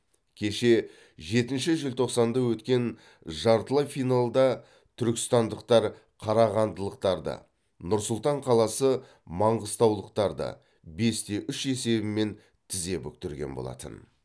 кеше жетінші желтоқсанда өткен жартылай финалда түркістандықтар қарағандылықтарды нұр сұлтан қаласы маңғыстаулықтарды бесте үш есебімен тізе бүктірген болатын